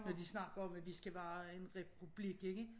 Når de snakker om at vi skal være en republik ikke